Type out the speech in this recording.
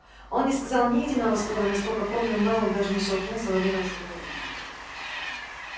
он не сказал ни единого слова и насколько помнил мэллоу даже не шелохнулся во время разговора